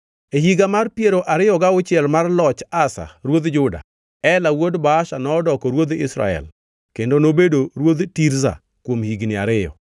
E higa mar piero ariyo gauchiel mar loch Asa Ruodh Juda, Ela wuod Baasha nodoko ruodh Israel kendo nobedo ruodh Tirza kuom higni ariyo.